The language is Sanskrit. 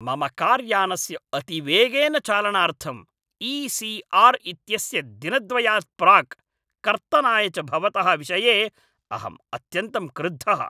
मम कार् यानस्य अतिवेगेन चालनार्थं ई.सी.आर्. इत्यस्य दिनद्वयात् प्राक् कर्तनाय च भवतः विषये अहम् अत्यन्तं क्रुद्धः ।